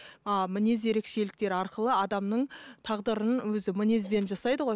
а мінез ерекшеліктері арқылы адамның тағдырын өзі мінезбен жасайды ғой